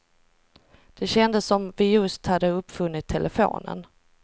Det kändes som om vi just hade uppfunnit telefonen.